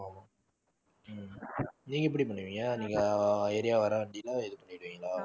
நீங்க எப்படி பண்ணுவீங்க நீங்க area வர வண்டியில இது பண்ணிடுவீங்களா